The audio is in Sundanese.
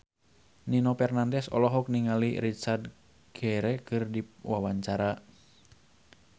Nino Fernandez olohok ningali Richard Gere keur diwawancara